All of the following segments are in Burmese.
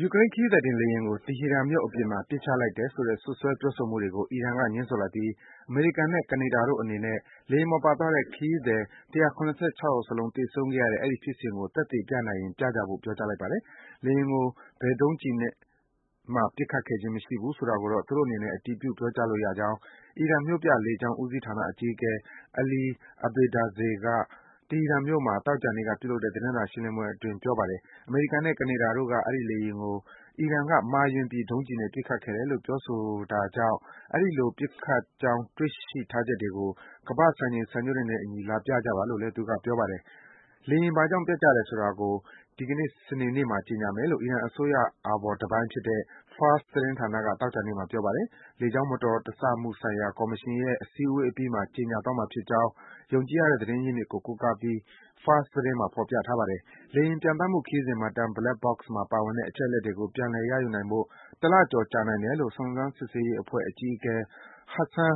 ယူကရိန်းခရီးသည်တင်လေယာဉ်ကို တီဟီရန်မြို့အပြင်မှာ ပစ်ချလိုက်တယ်ဆိုတဲ့ စွပ်စွဲပြောဆိုမှုတွေကို အီရန်က ငြင်းဆိုလိုက်ပြီး အမေရိကန်နဲ့ ကနေဒါတို့အနေနဲ့ လေယာဉ်ပေါ်ပါသွားတဲ့ ခရီးသည် ၁၇၆ ယောက်စလုံး သေဆုံးခဲ့ရတဲ့ အဲဒီဖြစ်စဉ်ကို သက်သေပြနိုင်ရင် ပြကြဖို့ ပြောကြားလိုက်ပါတယ်။ လေယာဉ်ကို ဘယ်ဒုံးကျည်နဲ့ပစ်ခဲ့ခြင်းမရှိဘူးဆိုတာကိုတော့ သူတို့အနေနဲ့ အတည်ပြု ပြောကြားလို့ရကြောင်း အီရန် မြို့ပြလေကြောင်း ဦးစီးဌာနအကြီးအကဲ Ali Abedzadeh က တီဟီရန်မြို့မှာ သောကြာနေ့က ပြုလုပ်တဲ့သတင်းစာရှင်းလင်းပွဲအတွင်း ပြောပါတယ်။ အမေရိကန်နဲ့ ကနေဒါတို့က အဲဒီလေယာဉ်ကို အီရန်က မှားယွင်းပြီး ဒုံးကျည်နဲ့ ပစ်ခတ်ခဲ့တယ်လို့ ပြောဆိုနေတာကြောင့် အဲဒီလို ပစ်ခတ်ကြောင်း တွေ့ရှိထားချက်တွေကို ကမ္ဘာ့စံချိန် စံညွန်းတွေနဲ့အညီ လာပြကြပါလို့လည်း Abedzadeh က ပြောပါတယ်။ လေယာဉ်ဘာကြောင့် ပျက်ကျတယ်ဆိုတာကို ဒီကနေ့ စနေနေ့မှာ ကြေညာမယ်လို့ အီရန်အစိုးရအာဘော်တပိုင်းဖြစ်တဲ့ Fars သတင်းဌာနက သောကြာနေ့မှာ ပြောပါတယ်။ လေကြောင်းမတော်တဆမှုဆိုင်ရာ ကော်မရှင်ရဲ့ စည်းဝေးပွဲအပြီးမှာ ကြေညာသွားမှာဖြစ်ကြောင်း ယုံကြည်ရတဲ့ သတင်းအရင်းမြစ်ကို ကိုးကားပြီး Fars သတင်းမှာ ဖော်ပြထားပါတယ်။ လေယာဉ်ပျံသန်းမှုခရီးစဉ်မှတ်တမ်း Black Box မှာပါတဲ့ အချက်အလက်တွေကို ပြန်လည် ရယူနိုင်ဖို့ တလကျော်ကြာနိုင်တယ်လို့ အီရန်စုံစမ်းစစ်ဆေးရေးအဖွဲ့ အကြီးအကဲ Hassan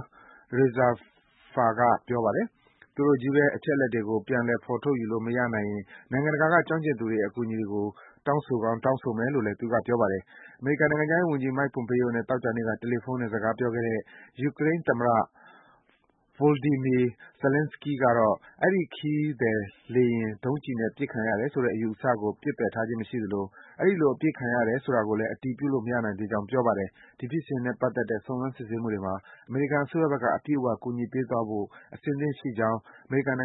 Rezaeifar က ပြောပါတယ်။ သူတို့ချည်းဘဲ အချက်အလက်တွေကို ပြန်လည် ဖော်ထုတ်ယူလို့မရခဲ့ရင် နိုင်ငံတကာက ကျွမ်းကျင်သူတွေရဲ့ အကူအညီကို တောင်းဆိုကောင်း တောင်းဆိုမယ်လို့လည်း သူက ပြောပါတယ်။ အမေရိကန်နိုင်ငံခြားရေးဝန်ကြီး Mike Pompeo နဲ့ သောကြာနေ့က တယ်လီဖုန်းနဲ့ စကားပြောခဲ့တဲ့ ယူကရိန်းသမ္မတ Voldymyr Zelenskiy ကတော့ အဲဒီ ခရီးသည်လေယာဉ် ဒုံးကျည်နဲ့ ပစ်ချခံရတယ်ဆိုတဲ့ အယူအဆကို ပစ်ပယ်ထားခြင်းမရှိသလို အဲဒီလို အပစ်ခံရတယ် ဆိုတာကိုလည်း အတည်ပြုလို့ မရနိုင်သေးကြောင်း ပြောပါတယ်။ ဒီဖြစ်စဉ်နဲ့ပတ်သက်တဲ့ စုံစမ်း စစ်ဆေးမှုတွေမှာ အမေရိကန်အစိုးရဘက်က အပြည့်အ၀ ကူညီပေးသွားဖို့ အစဉ်သင့်ရှိကြောင်း အမေရိကန်နိုင်ငံ